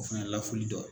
O fɛnɛ lafuli dɔ